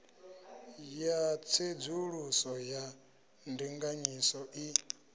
ya tsedzuluso ya ndinganyiso i